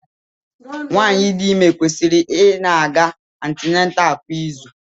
Nwaanyị dị ime kwesịrị ị na-aga antinental kwa izu.